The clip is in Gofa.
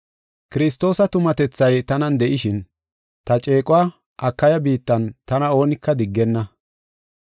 Kiristoosa tumatethay tanan de7ishin, ta ceequwa Akaya biittan tana oonika diggenna.